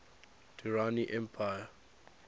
durrani empire